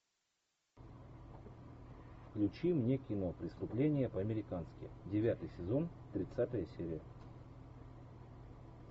включи мне кино преступление по американски девятый сезон тридцатая серия